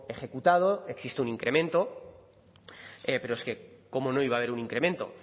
ejecutado existe un incremento pero es que cómo no iba a haber un incremento